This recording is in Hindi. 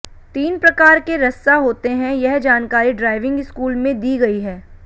तीन प्रकार के रस्सा होते हैं यह जानकारी ड्राइविंग स्कूल में दी गई है